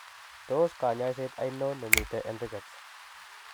Tos kanyaiset ainon nemiten en Rickets